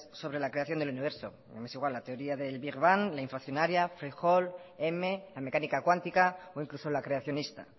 sobre la creación del universo me es igual la teoría del big bang la inflacionaria mil la mecánica cuántica o incluso la creacionista